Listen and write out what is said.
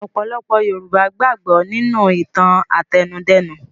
Ọ̀pọ̀lọpọ̀ Yorùbá gbàgbọ́ nínú ìtàn-àtẹnudẹ́nu.